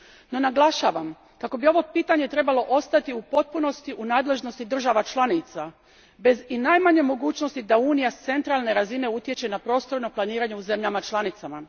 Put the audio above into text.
No naglašavam kako bi ovo pitanje trebalo ostati u potpunosti u nadležnosti država članica bez i najmanje mogućnosti da Unija s centralne razine utječe na prostorno planiranje u zemljama članicama.